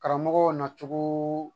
Karamɔgɔw nacogoo